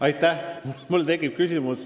Aitäh!